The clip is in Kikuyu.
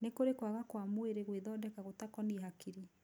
Nĩ kũrĩ kwaga kwa mwĩrĩ gwithondeka gũtakonie hakiri.